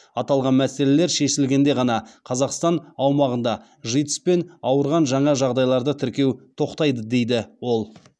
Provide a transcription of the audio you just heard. аталған мәселелер шешілгенде ғана қазақстан аумағында житс пен ауырған жаңа жағдайларды тіркеу тоқтайды дейді ол